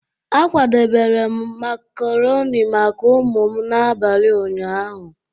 A kwadebere m macaroni maka ụmụ m n'abalị ụnyaahụ.